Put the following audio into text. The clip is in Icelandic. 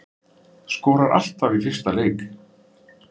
Skorar alltaf í fyrsta leik